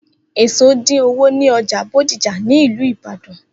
Eso dín owo ní ọjà Bódìjà ni ìlú Ìbàdàn.